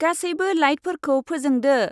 गासैबो लाइटफोरखौ फोजोंदो।